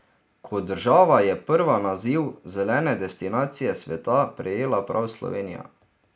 Kot država je prva naziv zelene destinacije sveta prejela prav Slovenija.